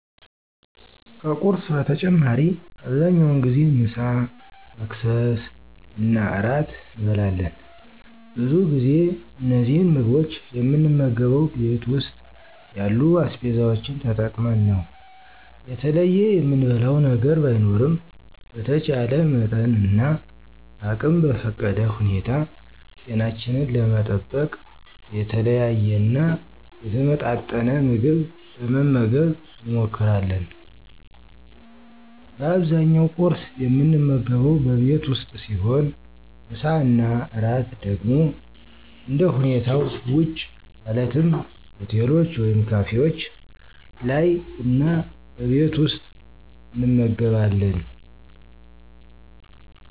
ከቁርስ በተጨማሪ አብዛኛውን ጊዜ ምሳ፣ መክሰስ እና እራት እንበላለን። ብዙ ጊዜ እነዚህን ምግቦች የምንመገበው ቤት ውስጥ ያሉ አስቤዛዎችን ተጠቅመን ነው። የተለየ የምንበላው ነገር ባይኖርም በተቻለ መጠንና አቅም በፈቀደ ሁኔታ ጤናችንን ለመጠበቅ የተለያየና የተመጣጠን ምግብ ለመመገብ እንሞክራለን። በአብዛኛው ቍርስ የምንመገበው በቤት ውስጥ ሲሆን ምሳ እና እራት ደግሞ እንደሁኔታው ውጪ ማለትም ሆቴሎች ወይም ካፌዎች ላይ እና በቤት ውስጥ እንመገባለን።